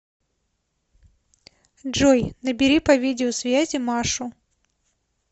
джой набери по видеосвязи машу